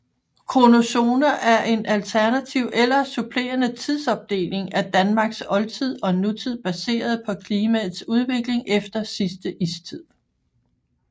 Kronozoner er en alternativ eller supplerende tidsopdeling af Danmarks oldtid og nutid baseret på klimaets udvikling efter sidste istid